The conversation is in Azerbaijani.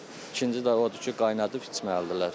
İkinci də odur ki, qaynadıb içməlidirlər.